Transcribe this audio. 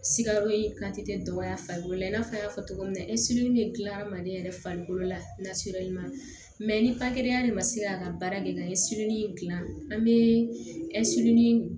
Sikaro in dɔgɔya farikolo la i n'a fɔ an y'a fɔ cogo min na de gilan mali yɛrɛ farikolo la ni de ma se k'a ka baara kɛ n'a ye gilan an be